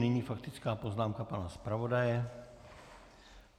Nyní faktická poznámka pana zpravodaje.